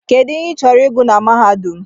Kedụ ihe I chọrọ ịgụ na mahadum?